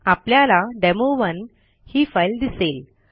आपल्याला डेमो1 ही फाईल दिसेल